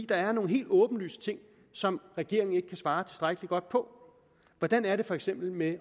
der er nogle helt åbenlyse ting som regeringen ikke kan svare tilstrækkelig godt på hvordan er det for eksempel med